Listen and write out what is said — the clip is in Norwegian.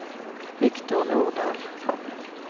Victor Nordahl